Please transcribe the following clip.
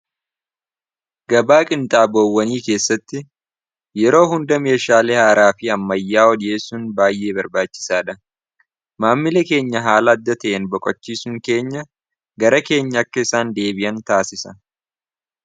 Gabaa qinxaaboowwanii keessatti yeroo hunda meeshaalee haaraa fi ammayyaa odiyee sun baay'ee barbaachisaa dha maammile keenya haala adda ta'en boqachiisun keenya gara keenya akka isaan deebi'an taasisa.